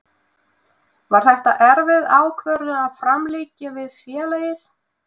Var þetta erfið ákvörðun að framlengja við félagið?